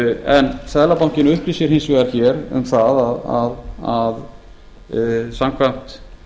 en seðlabankinn upplýsir hins vegar hér um það að samkvæmt